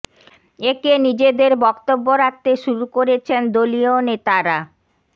একে নিজেদের বক্তব্য রাখতে শুরু করেছেন দলীয় নেতারা